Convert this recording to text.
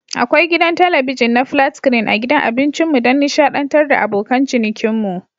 Akwai gidan talabijin na flat screen a gidan abincinmu don nishadantar da abokan cinikinmu.